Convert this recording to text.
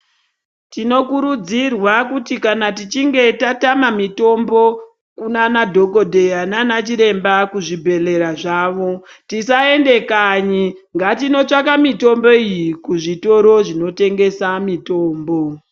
Tinokurudzirwa kuti kana tuchinge tatama mitombo kunanadhogodheya nana chiremba kuzvibhedhlera zvawo tisaende kanyi ngatinotsvaka mitombo iyi kuzvitoro zvinotengesa mitombo.